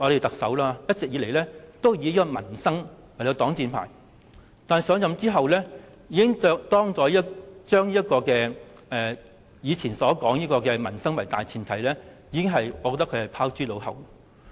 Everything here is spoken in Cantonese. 特首一直以來均以民生事項作擋箭牌，但上任後即將以往"以民生為大前提"的說法拋諸腦後。